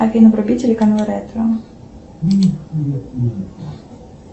афина вруби телеканал ретро